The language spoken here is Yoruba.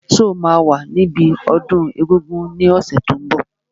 Ṣé o máa wà níbi ọdún egungun ní ọ̀sẹ̀ tó n bọ̀?